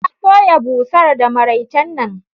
Ta soya busar da maraicen nan.